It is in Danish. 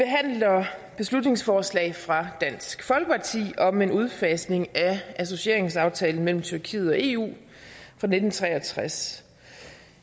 beslutningsforslag fra dansk folkeparti om en udfasning af associeringsaftalen mellem tyrkiet og eu fra nitten tre og tres